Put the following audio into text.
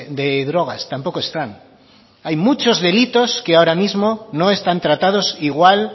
de drogas tampoco están hay muchos delitos que ahora mismo no están tratados igual